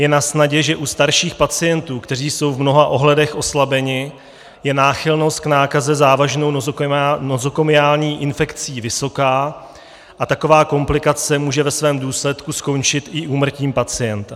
Je nasnadě, že u starších pacientů, kteří jsou v mnoha ohledech oslabeni, je náchylnost k nákaze závažnou nozokomiální infekcí vysoká, a taková komplikace může ve svém důsledku skončit i úmrtím pacienta.